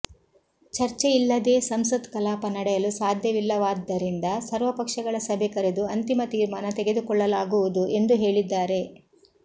ಚರ್ಚೆಯಿಲ್ಲದೇ ಸಂಸತ್ ಕಲಾಪ ನಡೆಯಲು ಸಾಧ್ಯವಿಲ್ಲವಾದ್ದರಿಂದ ಸರ್ವಪಕ್ಷಗಳ ಸಭೆ ಕರೆದು ಅಂತಿಮ ತೀರ್ಮಾನ ತೆಗೆದುಕೊಳ್ಳಲಾಗುವುದು ಎಂದು ಹೇಳಿದ್ದಾರೆ